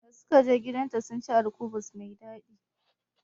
Da sukaje gidanta sunci alkubus mai daɗi